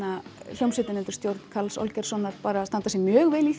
hljómsveitin undir stjórn Karls Olgeirssonar bara standa sig mjög vel í